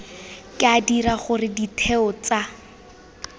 ka dira gore ditheo tsa